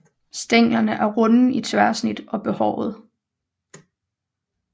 Stænglerne er runde i tværsnit og behårede